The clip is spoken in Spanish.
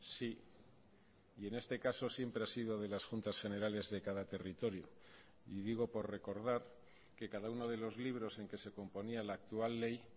sí y en este caso siempre ha sido de las juntas generales de cada territorio y digo por recordar que cada uno de los libros en que se componía la actual ley